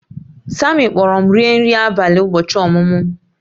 Sammy kpọọrọ m rie nri abalị ụbọchị ọmụmụ m